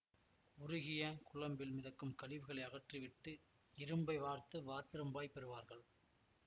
உருகிய குழம்பில் மிதக்கும் கழிவுகளை அகற்றி விட்டு இரும்பை வார்த்து வார்ப்பிரும்பாகப் பெறுவார்கள்